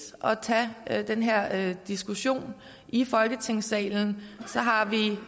at tage den her diskussion i folketingssalen så har vi